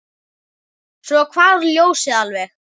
Svo hvarf ljósið alveg.